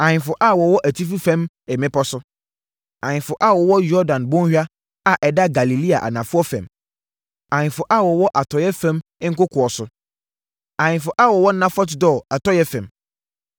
ahemfo a wɔwɔ atifi fam mmepɔ so, ahemfo a wɔwɔ Yordan Bɔnhwa a ɛda Galilea anafoɔ fam; ahemfo a wɔwɔ atɔeɛ fam nkokoɔ so; ahemfo a wɔwɔ Nafɔt Dor atɔeɛ fam;